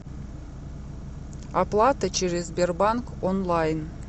оплата через сбербанк онлайн